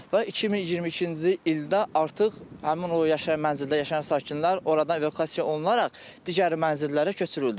Və 2022-ci ildə artıq həmin o yaşayan mənzildə yaşayan sakinlər oradan evakuasiya olunaraq digər mənzillərə köçürüldü.